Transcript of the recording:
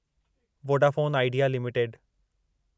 Vodafone Idea limited